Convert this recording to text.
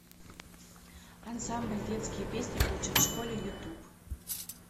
ансамбль детские песни учат в школе ютуб